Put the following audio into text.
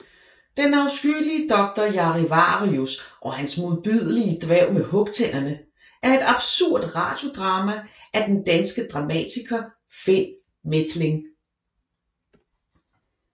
Den afskyelige doktor Jarivarius og hans modbydelige dværg med hugtænderne er et absurd radiodrama af den danske dramatiker Finn Methling